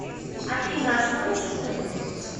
афина а что насчет этого